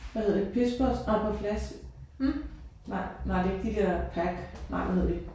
Hvad hedder de Pez Poz nej på flaske nej nej det er ikke de der pack. Nej hvad hedder de